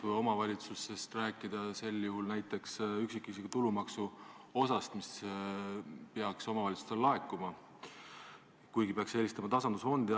Kui omavalitsustest rääkida, siis võib näiteks tuua üksikisiku tulumaksu osa, mis peaks omavalitsustele laekuma, kuigi peaks eelistama tasandusfondi.